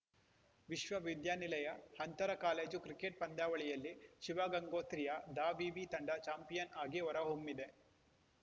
ವಿಶ್ವ ವಿದ್ಯಾನಿಲಯ ಅಂತರ ಕಾಲೇಜು ಕ್ರಿಕೆಟ್‌ ಪಂದ್ಯಾವಳಿಯಲ್ಲಿ ಶಿವಗಂಗೋತ್ರಿಯ ದಾವಿವಿ ತಂಡ ಚಾಂಪಿಯನ್‌ ಆಗಿ ಹೊರ ಹೊಮ್ಮಿದೆ